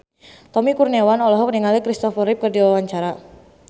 Tommy Kurniawan olohok ningali Kristopher Reeve keur diwawancara